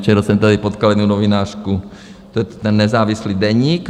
Včera jsem tady potkal jednu novinářku, to je ten nezávislý deník.